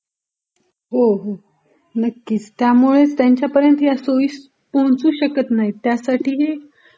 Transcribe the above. हो हो...नक्कीच. त्यामुळेचं त्यांच्यापर्यंत ह्या सुविधा पोहोचू शकतं नाहीत त्यासाठी ही